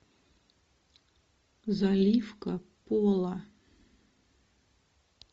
заливка пола